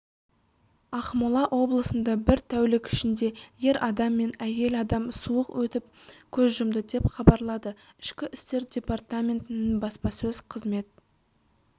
ақмола облысында бір тәулік ішінде ер адам мен әйел адам суық өтіп көз жұмды деп хабарлады ішкі істер департаментінің баспасөз қызмет